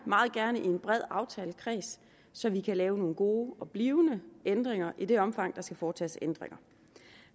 meget gerne i en bred aftalekreds så vi kan lave nogle gode og blivende ændringer i det omfang der skal foretages ændringer